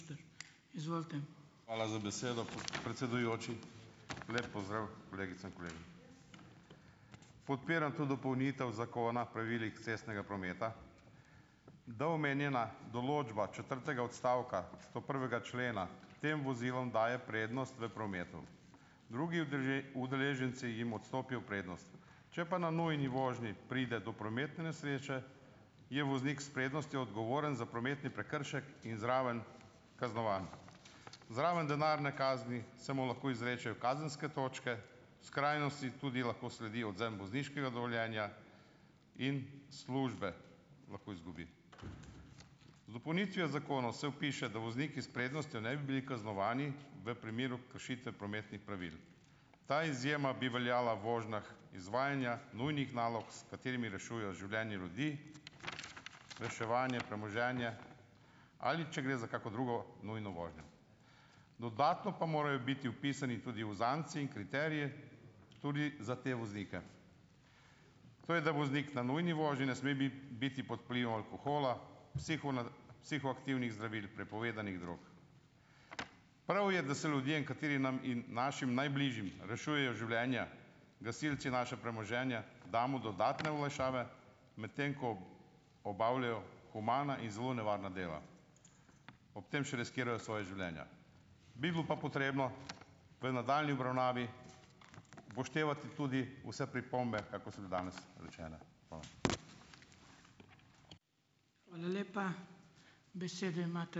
Hvala za besedo, predsedujoči. Lep pozdrav kolegicam, kolegom. Podpiram to dopolnitev Zakona pravilih cestnega prometa. Da omenjena določba četrtega odstavka stoprvega člena tem vozilom daje prednost v prometu. Drugi udeleženci jim odstopijo prednost. Če pa na nujni vožnji pride do prometne nesreče, je voznik s prednostjo odgovoren za prometni prekršek in zraven kaznovan. Zraven denarne kazni se mu lahko izrečejo kazenske točke, v skrajnosti tudi lahko sledi odvzem vozniškega dovoljenja in službe lahko izgubi. Z dopolnitvijo zakona se vpiše, da vozniki s prednostjo ne bi bili kaznovani v primeru kršitve prometnih pravil. Ta izjema bi veljala v vožnjah izvajanja nujnih nalog, s katerimi rešujejo življenje ljudi, reševanje , premoženje, ali če gre za kakšno drugo nujno vožnjo. Dodatno pa morajo biti vpisani tudi uzance in kriteriji, tudi za te voznike. To je, da voznik na nujni vožnji ne sme biti pod vplivom alkohola, psihoaktivnih zdravil, prepovedanih drog. Prav je, da se ljudem, kateri nam in našim najbližjim rešujejo življenja, gasilci naša premoženja, damo dodatne olajšave, medtem ko obavljajo humana in zelo nevarna dela. Ob tem še riskirajo svoja življenja. Bi bilo pa potrebno v nadaljnji obravnavi upoštevati tudi vse pripombe, so bile danes ...